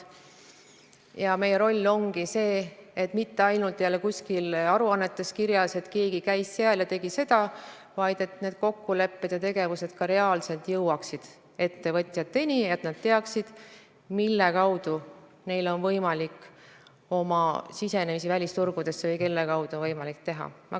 Ja meie roll ongi see, et mitte ainult kuskil aruannetes poleks kirjas, et keegi käis seal ja tegi seda, vaid et need kokkulepped ja tegevused jõuaksid ka reaalselt ettevõtjateni, et nad teaksid, mille kaudu neil on võimalik välisturgudele siseneda või kelle kaudu neil on võimalik seda teha.